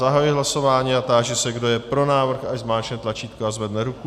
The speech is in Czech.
Zahajuji hlasování a táži se, kdo je pro návrh, ať zmáčkne tlačítko a zvedne ruku.